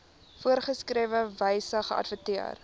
voorgeskrewe wyse geadverteer